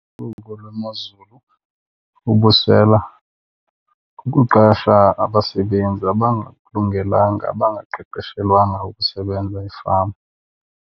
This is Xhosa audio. lwemozulu, bubusela, kukuqasha abasebenzi abangakulungelanga abangaqeqeshelwanga ukusebenza efama.